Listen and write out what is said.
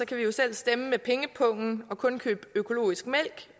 kan vi jo selv stemme med pengepungen og kun købe økologisk mælk